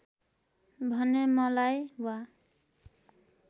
भने मलाई वा